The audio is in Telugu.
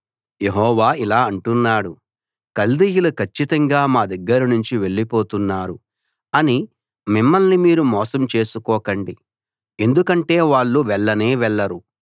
యెహోవా ఇలా అంటున్నాడు కల్దీయులు కచ్చితంగా మా దగ్గర నుంచి వెళ్ళిపోతున్నారు అని మిమ్మల్ని మీరు మోసం చేసుకోకండి ఎందుకంటే వాళ్ళు వెళ్లనే వెళ్లరు